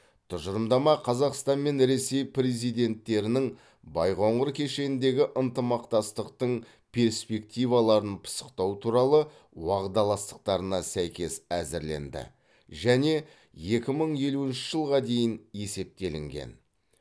тұжырымдама қазақстан мен ресей президенттерінің байқоңыр кешеніндегі ынтымақтастықтың перспективаларын пысықтау туралы уағдаластықтарына сәйкес әзірленді және екі мың елуінші жылға дейін есептелінген